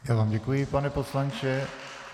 Já vám děkuji, pane poslanče.